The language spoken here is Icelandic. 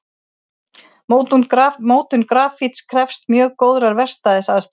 Mótun grafíts krefst mjög góðrar verkstæðisaðstöðu.